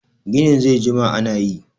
gini zai jima ana yi!